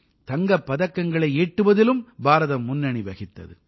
தங்கப் பதக்கங்களை ஈட்டுவதிலும் பாரதம் முன்னணி வகித்தது